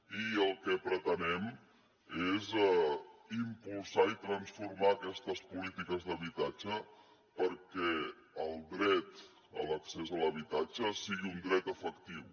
i el que pretenem és impulsar i transformar aquestes polítiques d’habitatge perquè el dret a l’accés a l’habitatge sigui un dret efectiu